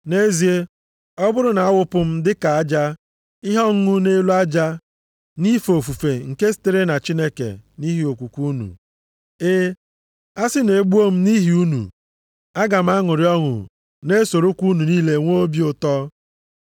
Nʼezie, ọ bụrụ na-awụpụ m dị ka aja ihe ọṅụṅụ nʼelu aja nʼife ofufe nke sitere na Chineke nʼihi okwukwe unu. E, a si na e gbuo m nʼihi unu, aga m aṅụrị ọṅụ na-esorokwa unu niile nwe obi ụtọ